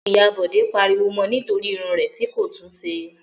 Ìyá Bọ̀dé pariwo mọ nítorí irun rẹ̀ tí kò tún ṣe.